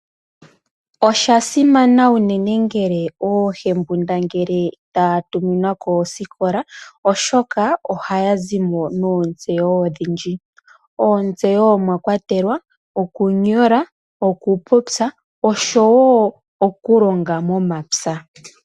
Osha simana unene ngele oohembundangele taa tuminwa koosikola, oshoka ohaya zimo noontseyo odhindji. Oontseyo omwa kwatelwa okunyola, okupopya oshowo okulonga momapya.